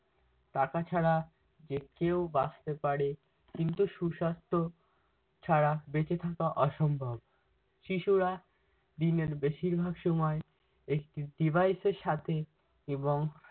টাকা ছাড়া যে কেউ বাঁচতে পারে কিন্তু সুসাস্থ্য ছাড়া বেচে থাকা অসম্ভব। শিশুরা দিনের বেশিরভাগ সময় একটি device এর সাথে এবং